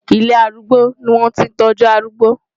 Ilé arúgbó ni wọ́n ti ń tọ́jú arúgbó.